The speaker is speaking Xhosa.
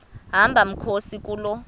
hamba mkhozi kuloo